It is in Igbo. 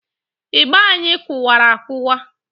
Ịgba anyị kụwara akụwa.